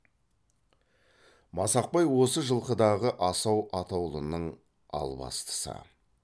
масақбай осы жылқыдағы асау атаулының албастысы